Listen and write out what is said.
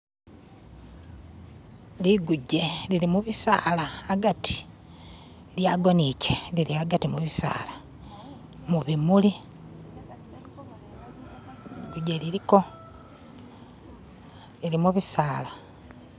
liguje lili mubisala hagati lyagoiche lili hagati mubisala mubimuli liguje liliko lili mubisala